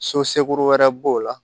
So segu wɛrɛ b'o la